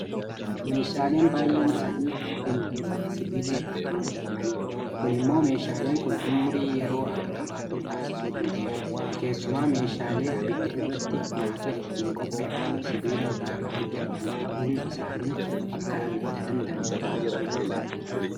Meeshaaleen baay'een isaanii biyya keenya keessatti Sibiila irraa kan hojjetamanidha. Kun immoo meeshaaleen kun ummurii yeroo akka qabaatan taasisuu danda'eera. Keessumaa meeshaalee abidda irratti nyaata ittiin qopheeffannu sibiila irraa kan hojjetaman ta'uun isaanii akka abidda damdamatu taasisuu danda'a.